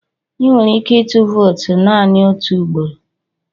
Ị nwere ike ịtụ vootu naanị otu ugboro.